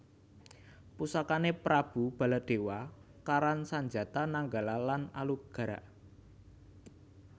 Pusakané Prabu Baladéwa karan Sanjata Nanggala lan Alugara